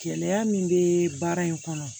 Gɛlɛya min bɛ baara in kɔnɔ